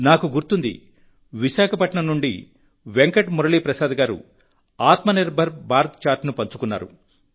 నాకు గుర్తుంది విశాఖపట్నం నుండి వెంకట్ మురళీ ప్రసాద్ గారు ఆత్మ నిర్భర భారత్ చార్ట్ను పంచుకున్నారు